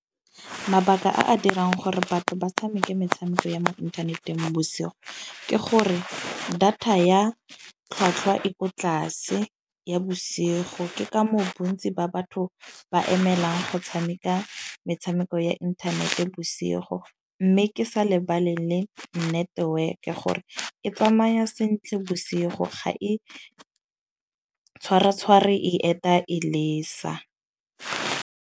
Mabaka a a dirang gore batho ba tshameke metshameko ya mo inthaneteng bosigo, ke gore data ya tlhwatlhwa e ko tlase ya bosigo ke ka moo bontsi ba batho ba emelang go tshameka metshameko ya inthanete bosigo. Mme ke sa lebale le network-e gore e tsamaya sentle bosigo ga e tshwara tshware e eta e lesa.